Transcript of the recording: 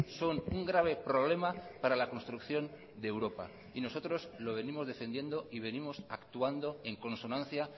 son un grave problema para la construcción de europa y nosotros lo venimos defendiendo y venimos actuando en consonancia